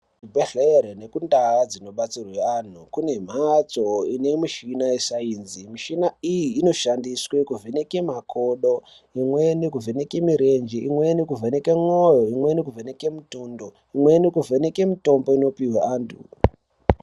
Kuzvibhedhlere nekundaa dzinobatsirwa antu kune mhatso ine mishina yesainzi. Michina iyi inoshandiswe kuveneka makodo. Imweni kuvheneke mirenje imwenikuvheneke mwoyo. Imweni kuvheneke mutundo, imweni kuvheneke mitombo inopihwe antu.